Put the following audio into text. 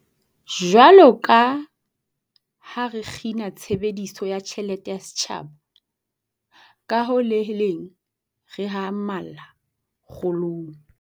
Jwaloka ha re kgina tshebediso ya tjhelete ya setjhaba, ka ho le leng re hahamalla kgolong